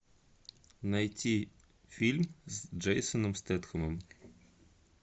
найти фильм с джейсоном стэтхэмом